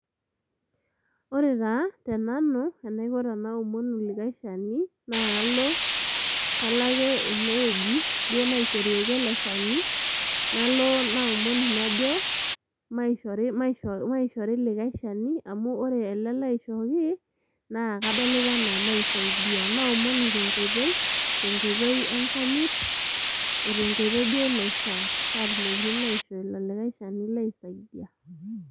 Ore taa tenanu enaiko tenaoomonu likae shani naa kalo, kaloake ene wueji duo naishorieki ele shani , nalo naomonu najo maishori likae shani amu ore ele laishooki naa kadolita anaa maisaidia .Naomonu tenkoitoi, tenkoitoi enkanyit , otenkoitoi duo naishiaa , paatumokini duoo aishoo ilo likae shani laisaidia.